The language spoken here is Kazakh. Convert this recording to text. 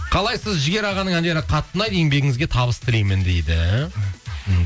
қалайсыз жігер ағаның әндері қатты ұнайды еңбегіңізге табыс тілмеймін дейді мхм